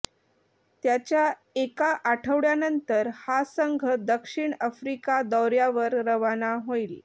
त्याच्या एका आठवड्यानंतर हा संघ दक्षिण आफ्रिका दौर्यावर रवाना होईल